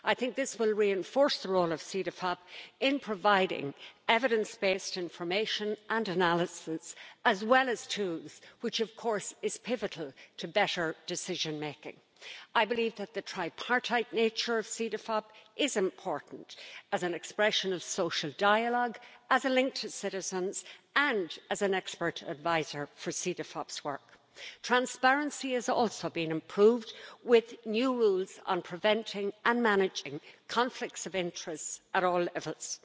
This will reinforce Cedefop's role in providing evidence based information and analysis, as well as tools, and that, of course, is pivotal for better decision making. I believe that the tripartite nature of Cedefop is important, in terms of its roles as an expression of social dialogue, as a link to citizens and as an expert adviser. Transparency has also been improved, with new rules on preventing and managing conflicts of interests at all levels.